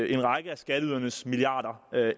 en række af skatteydernes milliarder